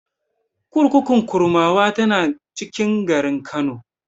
Kurkukun Kurmawa tana cikin garin Kano.